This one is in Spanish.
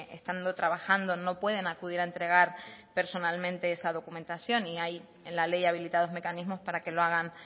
estando trabajando no pueden acudir a entregar personalmente esa documentación y hay en la ley habilitados mecanismos para que lo hagan